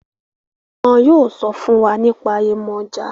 wọn yóò sọ fún wa nípa Yemọja